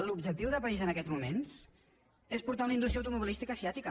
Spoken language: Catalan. l’objectiu de país en aquests moments és portar una indústria automobilística asiàtica